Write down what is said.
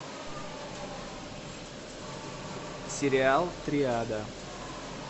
сериал триада